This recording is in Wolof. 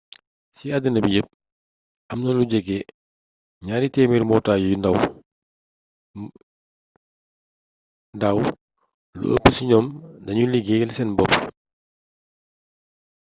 ci àddina bi yépp am na lu jege 200 mbootaay dàw lu ëpp ci ñoom dañuy liggéeyal seen bopp